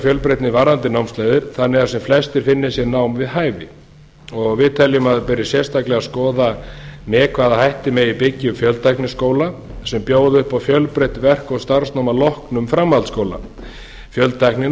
fjölbreytni varðandi námsleiðir þannig að sem flestir finni sér nám við hæfi við teljum að það beri sérstaklega að skoða með hvaða hætti megi byggja upp fjöltækniskóla sem bjóði upp á fjölbreytt verk og starfsnám að loknum framhaldsskóla